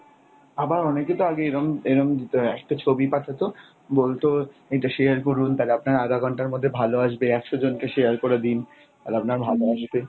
আবার অনেকেতো আগে এরম এরম দিত একটা ছবি পাঠাতো বলতো এটা share করুন তালে আপনার আধা ঘন্টার মধ্যে ভালো আসবে, একশো জনকে share করে দিন তাহলে আপনার ভালো আসবে।